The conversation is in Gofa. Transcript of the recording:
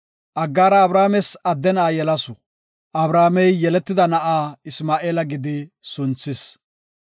Aggaara Abrames adde na7a yelasu; Abramey yeletida na7a Isma7eela gidi sunthis.